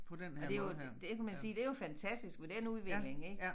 Og det jo det kan man sige det jo fantastisk med den udvikling ik